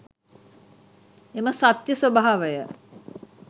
එම සත්‍යය ස්වභාවය